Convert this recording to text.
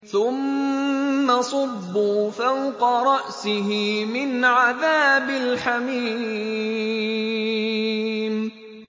ثُمَّ صُبُّوا فَوْقَ رَأْسِهِ مِنْ عَذَابِ الْحَمِيمِ